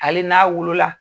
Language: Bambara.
Hali n'a wolola